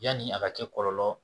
Yanni a ka kɛ kɔlɔlɔ